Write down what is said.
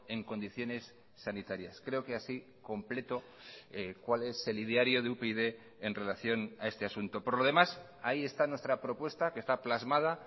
en condiciones sanitarias creo que así completo cuál es el ideario de upyd en relación a este asunto por lo demás ahí está nuestra propuesta que está plasmada